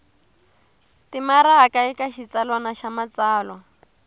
timaraka eka xitsalwana xa matsalwa